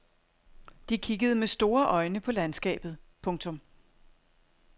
De kiggede med store øjne på landskabet. punktum